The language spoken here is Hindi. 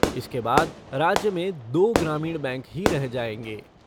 इसके बाद राज्य में दो ग्रामीण बैंक ही रह जायेंगे।